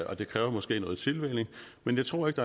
og det kræver måske noget tilvænning men jeg tror ikke